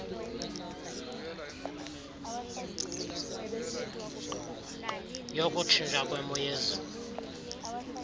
yokutshintsha kwemo yezulu